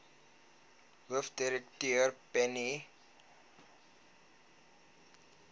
hoofdirekteur penny vinjevold